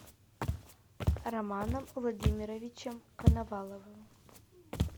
романом владимировичем коноваловым